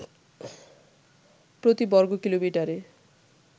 প্রতি বর্গকিলোমিটারে